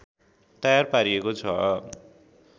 तयार पारिएको छ